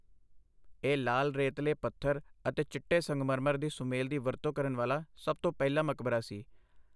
ਇਹ ਲਾਲ ਰੇਤਲੇ ਪੱਥਰ ਅਤੇ ਚਿੱਟੇ ਸੰਗਮਰਮਰ ਦੇ ਸੁਮੇਲ ਦੀ ਵਰਤੋਂ ਕਰਨ ਵਾਲਾ ਸਭ ਤੋਂ ਪਹਿਲਾ ਮਕਬਰਾ ਸੀ।